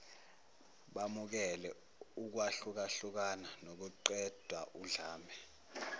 bamukele ukwahlukahlukana nokuqedaudlame